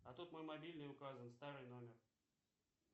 а тут мой мобильный указан старый номер